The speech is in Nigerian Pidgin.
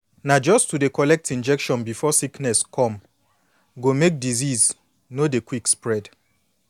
na just to dey collect injection before sickness come go make disease no dey quick spread